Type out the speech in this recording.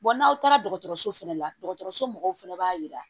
n'aw taara dɔgɔtɔrɔso fɛnɛ la dɔgɔtɔrɔso mɔgɔw fɛnɛ b'a yira